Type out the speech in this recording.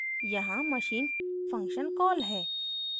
यहाँ machine function call है